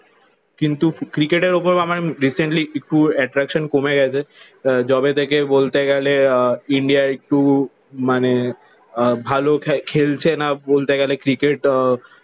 কিন্তু ক্রিকেটের উপর আমার রিসেন্টলি একটু এট্রাকশন কমে গেছে। যবে থেকে বলতে গেলে আহ ইন্ডিয়া একটু মানে ভালো খেলছে না বলতে গেলে ক্রিকেট। আহ